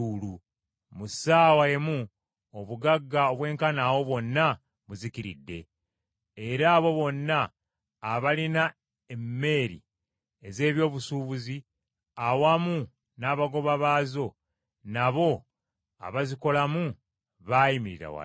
Mu ssaawa emu obugagga obwenkanaawo bwonna buzikiridde!’ “Era abo bonna abalina emmeeri ez’eby’obusuubuzi awamu n’abagoba baazo, n’abo abazikolamu, baayimirira wala.